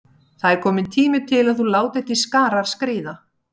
Það er kominn tími til að þú látir til skarar skríða.